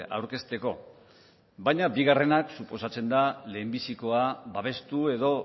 aurkezteko baina bigarrenak suposatzen da lehenbizikoa babestu edo